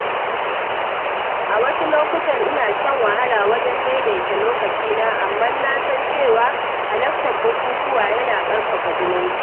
A wasu lokutan, ina shan wahala wajen daidaita lokacina, amma na san cewa halartar bukukuwa yana ƙarfafa zumunci.